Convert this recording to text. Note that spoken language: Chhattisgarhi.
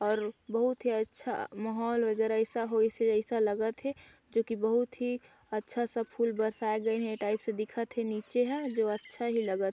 और बहुत ही अच्छा महौल वगैरा अइसा होइस अइसा लगत हे जो कि बहुत ही अच्छा सा फूल बरसाए गइन हे टाइप से दिखत हे नीचे हा जो अच्छा ही लगत--